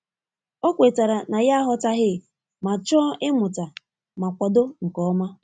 O kwetara na ya aghọtaghị ma chọọ ịmụta ma kwado nke ọma.